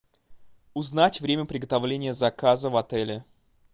узнать время приготовления заказа в отеле